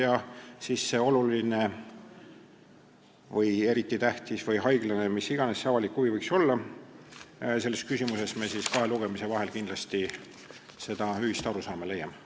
Ja siis see oluline või eriti tähtis või haiglane, mis iganes, avalik huvi – selles küsimuses me kahe lugemise vahel kindlasti selle ühise arusaama leiame.